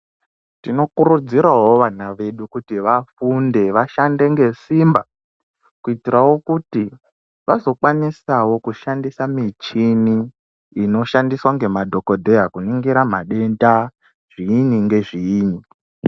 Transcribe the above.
Tinokurudziravo vana vedu kuti vafunde vashande ngesimba. kuitiravo kuti vazokwanisavo kushandisa michini inoshandiswa ngemadhogodheya kuningira madenda, zviini ngezviini.